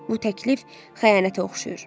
Bu təklif xəyanətə oxşayır.